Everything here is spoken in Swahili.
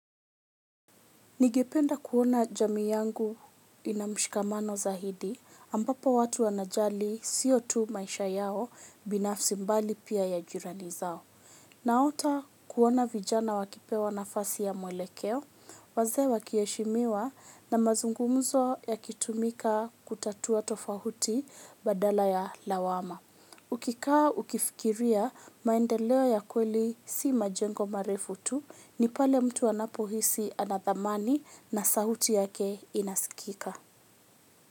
Ningependa kuona jamii yangu ina mshikamano zaidi, ambapo watu wanajali sio tu maisha yao binafsi bali pia ya jirani zao. Naota kuona vijana wakipewa nafasi ya mwelekeo, wazee wakiheshimiwa na mazungumzo yakitumika kutatua tofauti badala ya lawama. Ukikaa ukifikiria maendeleo ya kweli si majengo marefu tu ni pale mtu anapohisi anathamani na sauti yake inasikika.